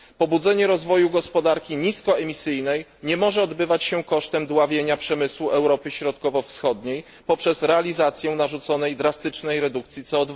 Pobudzenie rozwoju gospodarki niskoemisyjnej nie może odbywać się kosztem dławienia przemysłu Europy Środkowo Wschodniej poprzez realizację narzuconej, drastycznej redukcji CO